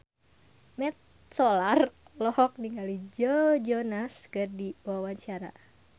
Mat Solar olohok ningali Joe Jonas keur diwawancara